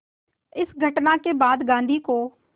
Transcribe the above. इस घटना के बाद गांधी को